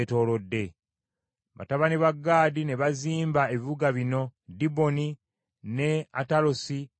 Batabani ba Gaadi ne bazimba ebibuga bino: Diboni, ne Atalosi, ne Aloweri,